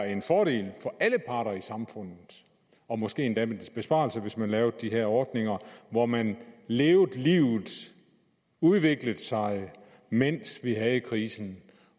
en fordel for alle parter i samfundet og måske endda en besparelse hvis man lavede de her ordninger hvor man levede livet og udviklede sig mens vi havde krisen